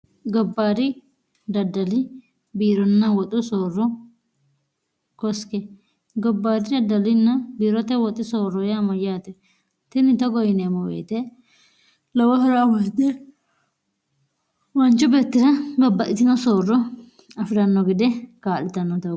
gobbaari daddali biironna woxu soorro koske gobbaari daddalinna biirote woxi soorro yaamo yaaxe tinni togoyineemmo weyete lowaha'ra woete waanchu beettira babbahitino soorro afi'ranno gede kaa'litannoteho